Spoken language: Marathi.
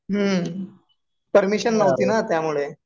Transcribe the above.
हम्म. परमिशन नव्हती ना त्यामुळे.